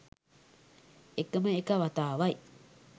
එකම එක වතාවයි